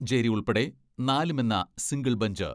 ഞ്ചേരി ഉൾപ്പെടെ നാല് മെന്ന സിംഗിൾ ബഞ്ച്